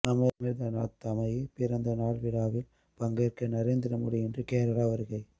அமிர்தானந்தமயி பிறந்த நாள் விழாவில் பங்கேற்க நரேந்திரமோடி இன்று கேரளா வருகை